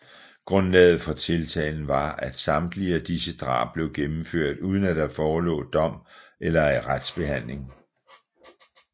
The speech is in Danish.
Grundlaget for tiltalen var at samtlige af disse drab blev gennemført uden at der forelå dom eller retsbehandling